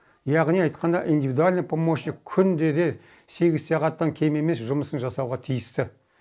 яғни айтқанда индивидуальный помощник күндеде сегіз сағаттан кем емес жұмысын жасауға тиісті